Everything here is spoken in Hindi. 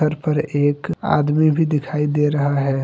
थर पर एक आदमी भी दिखाई दे रहा है।